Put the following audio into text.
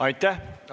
Aitäh!